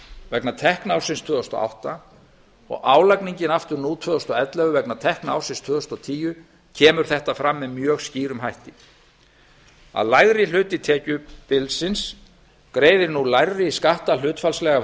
vegna tekna ársins tvö þúsund og átta og álagningin aftur nú tvö þúsund og ellefu vegna tekna ársins tvö þúsund og tíu kemur þetta mjög skýrt fram að lægri hluti tekjubilsins greiðir nú lægri skatta hlutfallslega af